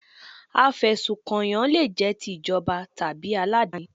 Afẹ̀sùnkànyàn le jẹ́ ti ìjọba tàbí aládàáni.